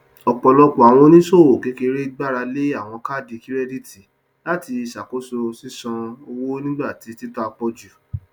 ọpọlọpọ àwọn oníṣòwò kékeré gbárà lé àwọn kaadi kirẹditi láti ṣàkóso ṣiṣàn owó nígbà tí títà pọ jù